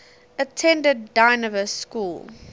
attended dynevor school